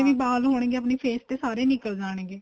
ਵਾਲ ਹੋਣਗੇ ਆਪਣੇਂ face ਤੇ ਉਹ ਸਾਰੇ ਨਿੱਕਲ ਜਾਣਗੇ